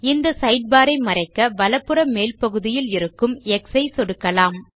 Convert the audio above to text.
இந்த சைட்பார் ஐ மறைக்க வலப்புற மேல்பகுதியில் இருக்கும் x சை சொடுக்கலாம்